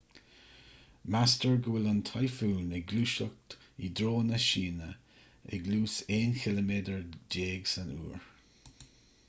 meastar go bhfuil an tíofún ag gluaiseacht i dtreo na síne ag luas aon chiliméadar déag san uair